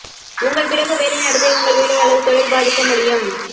உங்கள் பிறகு வேலை நடத்தை உங்கள் வேலை அல்லது தொழில் பாதிக்க முடியும்